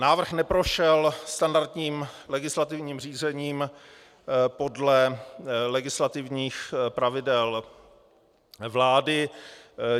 Návrh neprošel standardním legislativním řízením podle legislativních pravidel vlády.